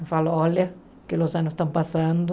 Eu falo, olha, que os anos estão passando.